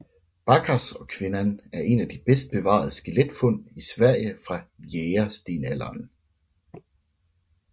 Bäckaskogskvinnan er et af de bedst bevarede skeletfund i Sverige fra Jægerstenalderen